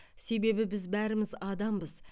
себебі біз бәріміз адамбыз